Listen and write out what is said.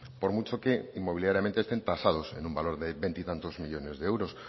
por mucho que inmobiliariamente estén tasados en un valor de veintitantos millónes de euros